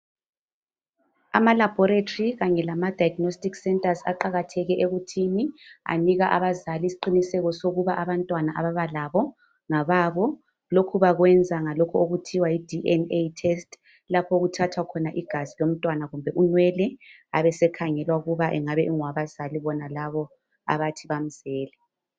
Ama laboratory kanye lama diagnostic centres aqakatheke ekuthini anika abazali isiqinseko sokuba abantwana ababa labo ngababo lokhu bakwenza ngalokhu okuthiwa DNA test lapho okuthathwa igazi kumbe unwele abesekhangelwa ukuba engabe engowabazali bonalabo abathi bamzele